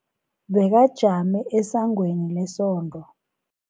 Bekajame esangweni lesonto.